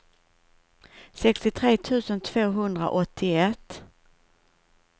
sextiotre tusen tvåhundraåttioett